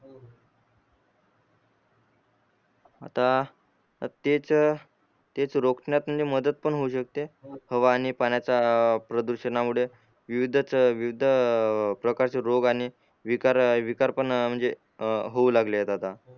आता तेच तेच रोखण्यात मदत पण होऊ शकते हवा आणि पाण्याचा प्रदुषणामुळे विविधच विविध प्रकारचे रोग आणि विकार विकार पण म्हणजे होऊ लागले आता